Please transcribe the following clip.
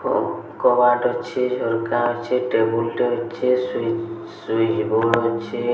ଆଉ କବାଟ୍ ଅଛି ଅଲଗା ଅଛି। ଟେବୁଲଟେ ଅଛି। ସ୍ୱିଚ୍ ସ୍ୱିଚ୍ ବୋର୍ଡ଼ ଅଛି।